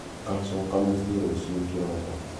Ngacoka mũcĩĩ rũcĩũ kĩroko.